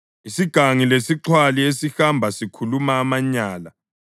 Isigangi lesixhwali esihamba sikhuluma amanyala,